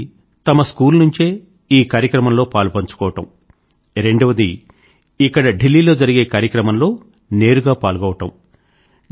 మొదటిది తమ స్కూల్ నుండే ఈ కార్యక్రమం లో పాలుపంచుకోవడం రెండవది ఇక్కడ ఢిల్లీ లో జరిగే కార్యక్రమం లో నేరుగా పాల్గొనడం